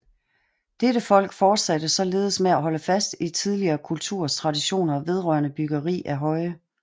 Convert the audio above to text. Dette folk fortsatte således med at holde fast i tidligere kulturers traditioner vedrørende byggeri af høje